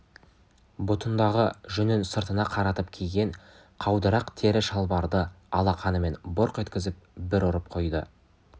бұтындағы жүнін сыртына қаратып киген қаудырақ тері шалбарды алақанымен бұрқ еткізіп бір ұрып қойды